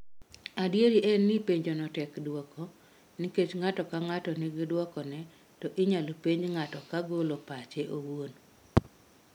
Adier en ni penjono tek duoko nikech ng'ato ka ng'ato nigi duokone to inyalo penj ng'ato ka golo pache owuon.